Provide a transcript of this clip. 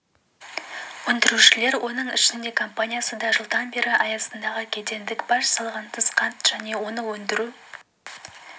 өндірушілер оның ішінде компаниясы да жылдан бері аясындағы кедендік баж салығынсыз қант және оны өндіру